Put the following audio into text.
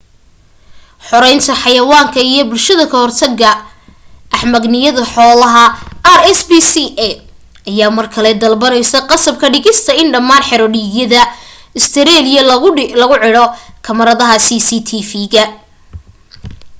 xoreynta xayawaanka iyo bulshada ka hortaga axmaqnimada xoolaha rspca ayaa mar kale dalbanaya qasab ka dhigista in dhammaan xero-dhiigyada ustareeliya lagu cidho kamaradaha cctv